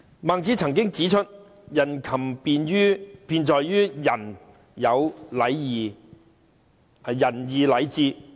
孟子曾經指出，人禽之辨在於人有仁義禮智。